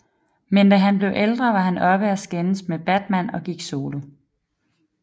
Men da han blev ældre var han oppe og skændes med Batman og gik solo